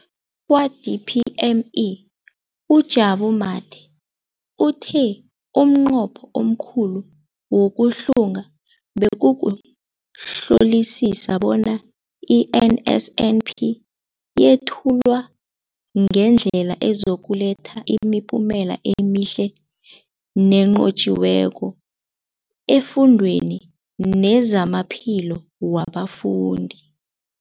Kwa-DPME, uJabu Mathe, uthe umnqopho omkhulu wokuhlunga bekukuhlolisisa bona i-NSNP yethulwa ngendlela ezokuletha imiphumela emihle nenqotjhiweko efundweni nezamaphilo wabafundi.